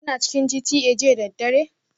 Kuna cikin GTA jiya da daddare?